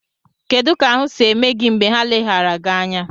Kedụ ka ahụ si mee gị mgbe ha leghara gị anya?